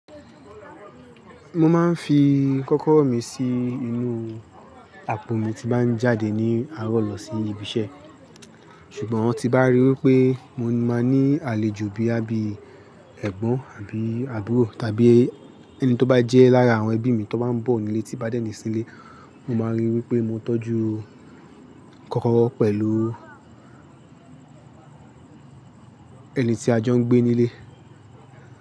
Mo máa ń fi kọ́kọ́rọ́ mi sí inú àpò mi tí bá ń jáde ní àárọ̀ lọ sí ibi iṣẹ́. Ṣùgbọ́n tí bá rí wípé mo máa ní àlejò bí ẹgbọǹ àbí àbúrò tàbí ẹni tí ó bá jẹ́ lára àwọn ẹbí mi tó bá ń bọ̀ nílé tí bá dènì sílé, mo máa rí wípé mo tọ́jú kọ́kọ́rọ́ pẹ̀lú ẹni tí a jọ ń gbé nílé.